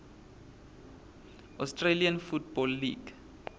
australian football league